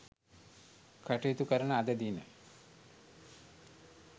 කටයුතු කරන අද දින